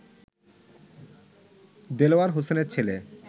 দেলোয়ার হোসেনের ছেলে